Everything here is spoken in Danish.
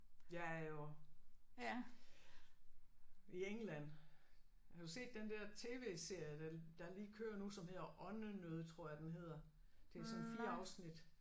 Jeg er jo i England har du set den der tv-serie der der lige kører nu som hedder Åndenød tror jeg den hedder? Det er sådan 4 afsnit